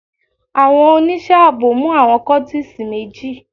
Àwọn oníṣẹ́ ààbò mú àwọn kọ́tísì méjì.